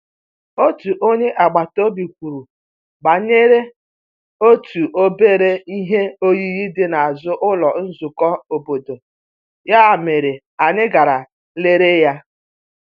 Otu onye agbata obi kwuru banyere otu obere ihe oyiyi dị n’azụ ụlọ nzukọ obodo, ya mere anyị gara lere ya.